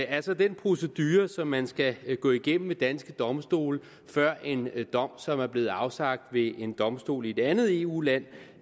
er så den procedure som man skal gå igennem ved danske domstole før en dom som er blevet afsagt ved en domstol i et andet eu land